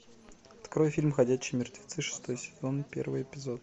открой фильм ходячие мертвецы шестой сезон первый эпизод